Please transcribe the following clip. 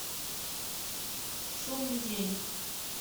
шумный день